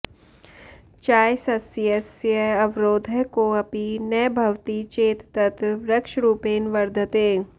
चायसस्यस्य अवरोधः कोऽपि न भवति चेत् तत् वृक्षरूपेण वर्धते